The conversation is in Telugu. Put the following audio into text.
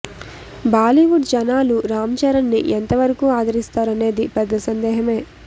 బాలీవుడ్ జనాలు రామ్ చరణ్ ని ఎంతవరకు ఆధరిస్తారనేది పెద్ద సందేహమే